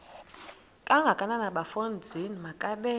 kangakanana bafondini makabe